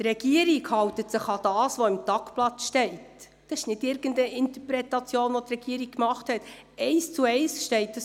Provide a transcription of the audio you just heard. Sie sind Gäste von Grossrat Benoit, wenn ich mich nicht täusche.